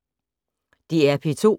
DR P2